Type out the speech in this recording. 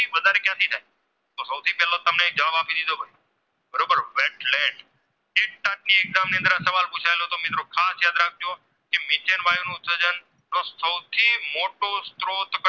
મોટો સ્ત્રોત